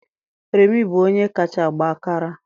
Remi bụ onye kacha agba akara